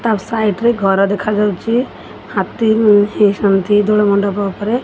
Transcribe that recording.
ତାଙ୍କ ସାଇଟ୍ ରେ ଘର ଦେଖାଯାଉଛି ହାତୀ ମଣ୍ଡପ ଉପରେ।